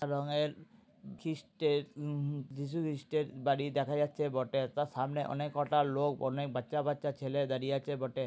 রংয়ের খ্রীষ্টের উম যীশুখ্রীষ্টের বাড়ি দেখা যাচ্ছে বটে তার সামনে অনেক কটা লোক অনেক বাচ্চা বাচ্চা ছেলে দাঁড়িয়ে আছে বটে।